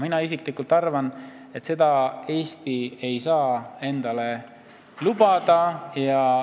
Mina arvan, et seda ei saaks Eesti endale lubada.